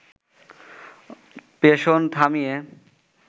পেষণ থামিয়ে